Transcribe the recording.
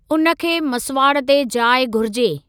उन खे मसवाड़ ते जाइ घुरिजे।